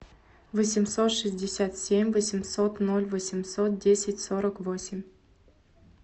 восемьсот шестьдесят семь восемьсот ноль восемьсот десять сорок восемь